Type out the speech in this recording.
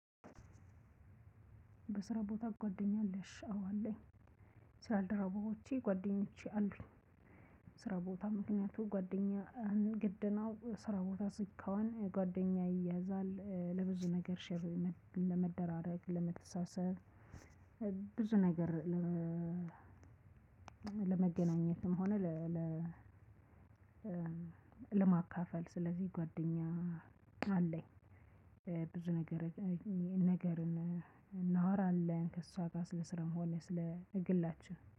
በስራቦታ ጉአደኛ አለሺ አወ አለኚ ስራ ባልደረቦች ጉአደኛ አሉኚ ስራቦታ ምክናያቱም ጉአደኛ ግድ ነው ስራቦታ ስትሆን ጉአደኛ ይያዛል ለብዙነገር ሼር ለመደራረግ ለመተሳሰብ። ብዙ ነገር ለ ለመገናኘትም ሆነ ለ ለማካፈል። ስለዚህ ጓደኛ አለኝ። ብዙ ነገር ነገርን እናወራለን ከእሷ ጋር ስለ ስራም ሆነ ስለ ግላችን